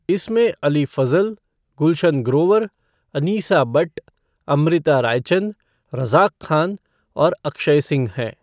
इसमें अली फज़ल, गुलशन ग्रोवर, अनीसा बट्ट, अमृता रायचंद, रज़ाक खान और अक्षय सिंह हैं।